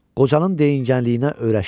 Qocanın deyingənliyinə öyrəşmişdi.